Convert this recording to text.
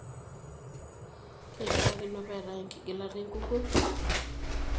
Keishiakino pee eetae enkigilata enkukuo?